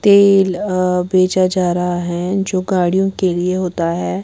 तेल बेचा जा रहा है जो गाड़ियों के लिए होता है।